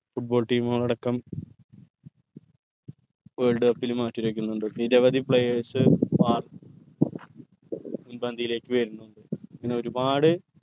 football team കൾ അടക്കം world cup ൽ മത്സരിക്കിന്നിണ്ട് നിരവധി players മുൻപന്തിലേക്ക് വേര്നിണ്ട് ഇങ്ങനെ ഒരുപാട്